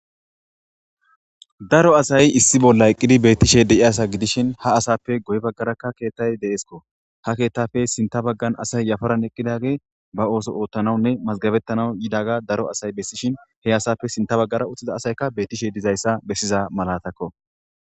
daro asay issi bolla eqqidi beettishe deiasa gidishin ha asappe goy baggaraka keettay deeskko ha keettappe sinta baggan asay yafaran eqqidage ba ooso oottanawunne mazgabettanau yidaga daro asay bessishin he asappe sinta baggara uttiza asaykka bettishe dizayssa bessiza malatakko